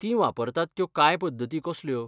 तीं वापरतात त्यो कांय पद्दती कसल्यो?